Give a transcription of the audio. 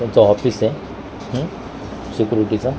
यांचं ऑफिस ए उम्म सिक्यूरीटीचं .